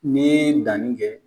Ni ye danni kɛ